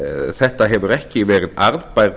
þetta hefur ekki verið arðbær